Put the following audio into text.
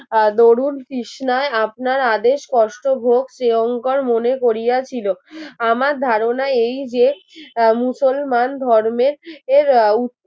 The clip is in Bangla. আর ধরুন তৃষ্ণায় আপনার আদেশ কষ্ট হোক শ্রীঅঙ্গর মনে করিয়াছিল আমার ধারণা এই যে মুসলমান ধর্মের এর